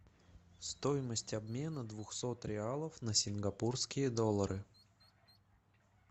стоимость обмена двухсот реалов на сингапурские доллары